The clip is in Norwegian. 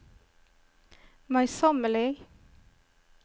møysommelig